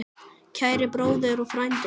Kæri bróðir og frændi.